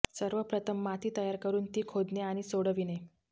सर्वप्रथम माती तयार करून ती खोदणे आणि सोडविणे